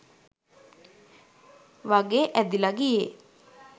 වගේ ඇදිල ගියේ.